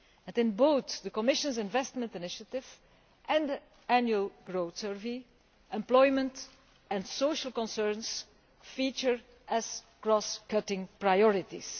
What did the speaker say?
In both the Commission's investment initiative and the Annual Growth Survey, employment and social concerns feature as cross-cutting priorities.